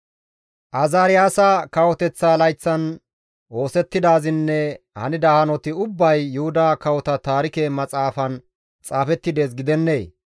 Azaariyaasa kawoteththa layththan oosettidaazinne hanida hanoti ubbay Yuhuda Kawota Taarike Maxaafan xaafetti dees gidennee?